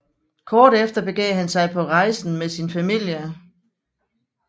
Kort efter begav han sig på rejsen med sin familie